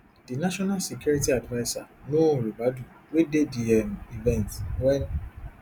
di national security adviser nuhu ribadu wey dey di um event wen